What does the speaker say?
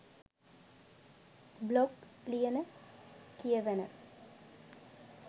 blog ලියන කියවන